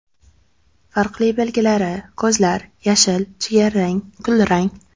Farqli belgilari: Ko‘zlar – yashil, jigarrang, kulrang.